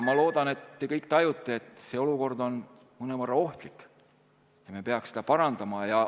Ma loodan, et te kõik tajute, et see olukord on mõnevõrra ohtlik ja me peaks seda parandama.